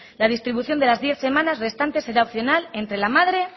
la distribución de las diez semanas restantes será opcional entre la madre